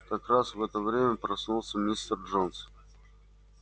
как раз в это время проснулся мистер джонс